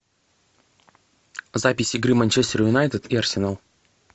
запись игры манчестер юнайтед и арсенал